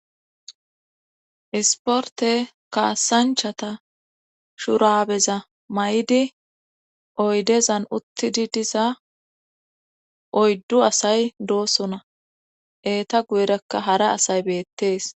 Isporte kaasanchata shurabeza may'idi oydezan uttidi diza oyddu asay doosona eeta guyerakka hara asay beettees